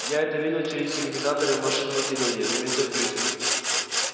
я это видел через иллюминаторы в машинном отделении заметил кьюти